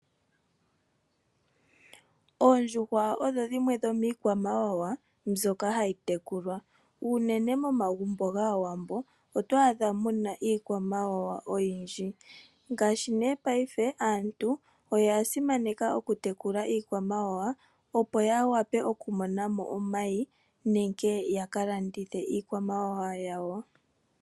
Oondjuhwa odho dhimwe dhomiikwamawawa mbyoka hayi tekulwa unene momagumbo gaawambo otwaa dha muna iikwamawawa oyindji ngaashi nee paife aantu oya simaneka oku tekula iikwamawawa opo ya wape okumona mo omayi nenge ya ka landithe iikwamawawa yawo.